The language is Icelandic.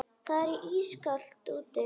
Það er ískalt úti.